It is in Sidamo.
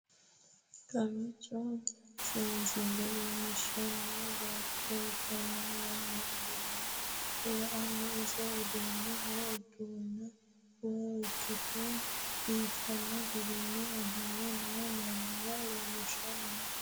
kowiicho seesille leellishshanni bayicho ikkanna, mannu ofolle la''anna ise uddidhino uduunne woy ikkite biifino gara ofolle no mannira leellishshanni no,